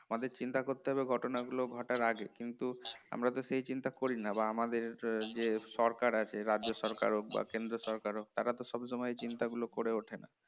আমাদের চিন্তা করতে হবে ঘটনাগুলো ঘটার আগে কিন্তু আমারা তো সেই চিন্তা করি না বা আমাদের এর যে সরকার আছে রাজ্য সরকার হোক বা কেন্দ্র সরকার হোক তারা তো সব সময় চিন্তাগুলো করে ওঠে না